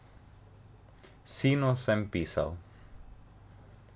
Sinu sem pisal.